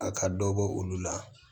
A ka dɔ bɔ olu la